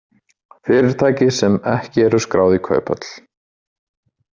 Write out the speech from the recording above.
Fyrirtæki sem ekki eru skráð í kauphöll